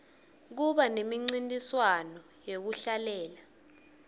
kuba nemincintiswano yekuhlabelela